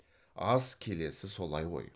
ас келесі солай ғой